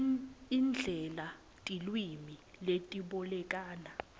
indlela tilwimi letibolekana